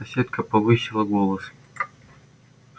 соседка повысила голос